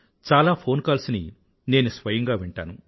చాలా phone calls ని నేను స్వయంగా వింటాను